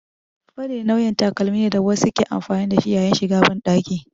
Faɗe nau'in takalmi ne da wasu ke amfani da shi yayin shiga banɗaki.